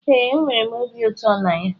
Ee, enwere m obi ụtọ na ya